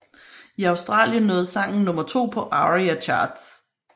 I Australien nåede sangen nummer to på ARIA Charts